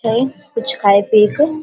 हेय कुछ खाय-पिये के --